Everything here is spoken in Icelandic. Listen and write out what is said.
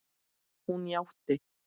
Hún játti.